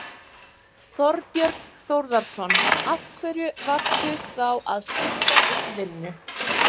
Þorbjörn Þórðarson: Af hverju varstu þá að skipta um vinnu?